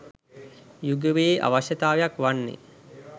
යුගයේ අවශ්‍යතාවයක් වන්නේය